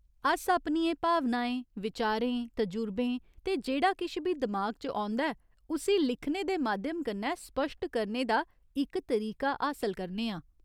अस अपनियें भावनाएं, विचारें, तजुर्बें ते जेह्ड़ा किश बी दिमाग च औंदा ऐ उस्सी लिखने दे माध्यम कन्नै स्पश्ट करने दा इक तरीका हासल करने आं।